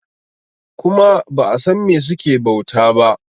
kuma ba a San me suke bauta ba